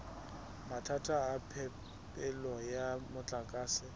mathata a phepelo ya motlakase